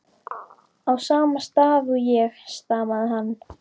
á sama stað og ég, stamaði hann.